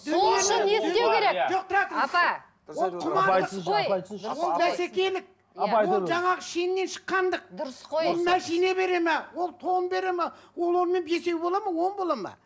ол жаңағы шеннен шыққандық дұрыс қой ол машина бере ме ол тон бере ме ол онымен бесеу болады ма он болады ма